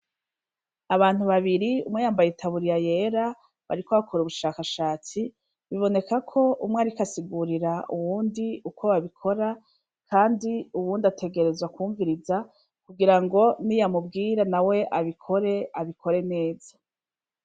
Abantu babiri umwe yambaye utaburiya yera bariko bakora ubushakashatsi, biboneka ko umwe ariko asigurira uwundi uko babikora, kandi uwundi ategerezwa kwumviriza kugira ngo niyamubwira nawe abikore, abikore neza.